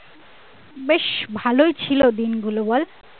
বেশ ভালোই ছিল দিন গুলো বল?